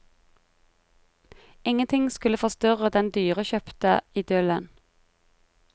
Ingenting skulle forstyrre den dyrekjøpte idyllen.